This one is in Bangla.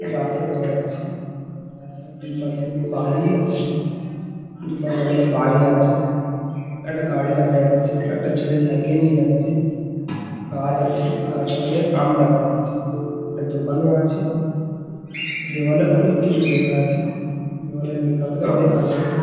রাস্তা দেখা যাচ্ছে। রাস্তার দুপাশে বালি আছে। দুপাশে অনেক বাড়ি আছে। একটা গাড়ি দেখা যাচ্ছে। একটা ছেলে সাইকেল নিয়ে যাচ্ছে। গাছ আছে গাছে অনেক আম দেখা যাচ্ছে। একটা দোকানও আছে। দেওয়ালে অনেক কিছু লেখা আছে। দেওয়ালে লেখা অনেক আছে।